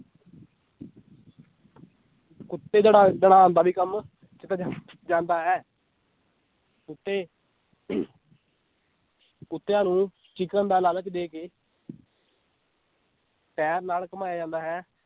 ਕੁੱਤੇ ਦੜਾ, ਦੜਾਉਣ ਦਾ ਵੀ ਕੰਮ ਕੀਤਾ ਜਾ~ ਜਾਂਦਾ ਹੈ ਕੁੱਤੇ ਕੁੱਤਿਆਂ ਨੂੰ chicken ਦਾ ਲਾਲਚ ਦੇ ਕੇ ਪੈਰ ਨਾਲ ਘੁੰਮਾਇਆ ਜਾਂਦਾ ਹੈ।